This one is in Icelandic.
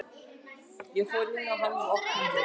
Ég fór inn í hann með opnum hug.